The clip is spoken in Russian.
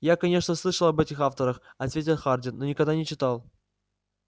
я конечно слышал об этих авторах ответил хардин но никогда не читал